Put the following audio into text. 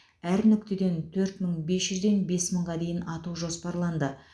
әр нүктеден төрт мың бес жүзден бес мыңға дейін ату жоспарланды